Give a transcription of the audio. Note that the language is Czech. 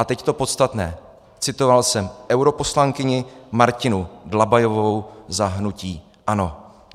A teď to podstatné - citoval jsem europoslankyni Martinu Dlabajovou za hnutí ANO.